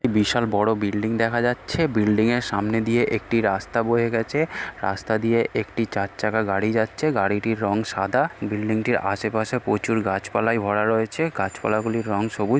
বিশাল বড় বিল্ডিং দেখা যাচ্ছে। বিল্ডিং এর সামনে দিয়ে একটি রাস্তা বয়ে গেছে । রাস্তা দিয়ে একটি চারচাকা গাড়ি যাচ্ছ.।গাড়িটির রং সাদা। এ বিল্ডিং টির আশেপাশে প্রচুর গাছপলায় ভরা রয়েছে। গাছপালা গুলির রং সবুজ।